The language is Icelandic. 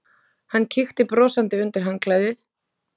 Hann kíkti brosandi undir handklæðið.